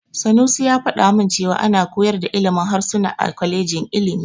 Sanusi ya faɗa min cewa ana koyar da ilimin harsuna a kwalejin ilimi.